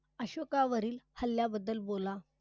अशोका वरील हल्ल्याबद्दल बोला.